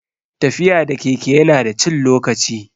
Tafiya da keke ya na da cin lokaci